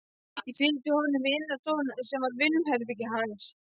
Ég fylgdi honum í innri stofuna sem var vinnuherbergi hans.